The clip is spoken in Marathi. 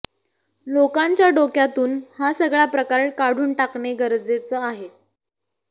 लोकांच्या डोक्यातून हा सगळा प्रकार काढून टाकणे गरजेचं आहे